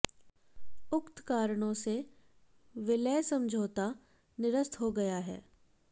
उक्त कारणों से विलय समझाौता निरस्त हो गया है